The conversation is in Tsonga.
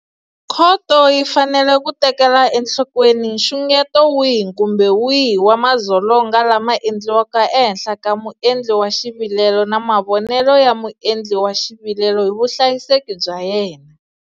Khoto yi fanele ku tekela enhlokweni nxungeto wihi kumbe wihi wa madzolonga lama endliwaka ehenhla ka muendli wa xivilelo na mavonelo ya muendli wa xivilelo hi vuhlayiseki bya yena.